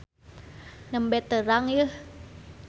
Nembe terang yeuh.